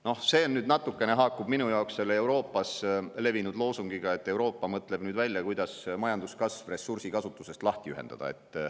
Noh, see natukene haakub minu jaoks selle Euroopas levinud loosungiga, et Euroopa mõtleb välja, kuidas majanduskasv ressursikasutusest lahti ühendada.